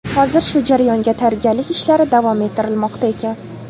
Hozir shu jarayonga tayyorgarlik ishlari davom ettirilmoqda ekan.